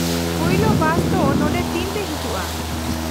-ᱯᱳᱭᱞᱳ ᱵᱟᱥ ᱫᱚ ᱱᱚᱸᱰᱮ ᱛᱤᱱᱨᱮ ᱦᱤᱡᱩᱜᱼᱟ ?